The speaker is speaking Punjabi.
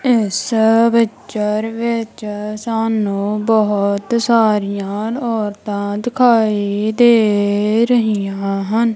ਇੱਸ ਪਿਕਚਰ ਵਿੱਚ ਸਾਨੂੰ ਬੋਹਤ ਸਾਰਿਆਂ ਔਰਤਾਂ ਦਿਖਾਈ ਦੇ ਰਹੀਆ ਹਨ।